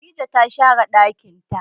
Khadijah ta share ɗakin ta.